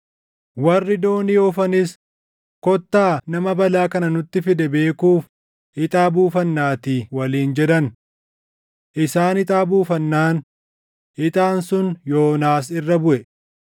Warri doonii oofanis, “Kottaa nama balaa kana nutti fide beekuuf ixaa buufannaatii” waliin jedhan. Isaan ixaa buufannaan ixaan sun Yoonaas irra buʼe.